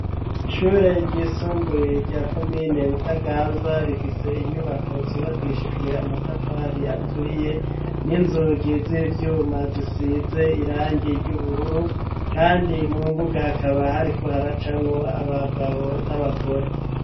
Ishure ry'isumbuye rya komine butaganzwa rifise inyubako zubakishijwe Amatafari aturiye, n'inzugi z'ivyuma zisize irangi ry'ubururu, kandi mu mbuga hakaba hariko haracamwo Abagabo, n'Abagore.